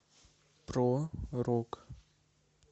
про рок